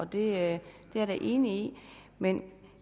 det er jeg da enig i men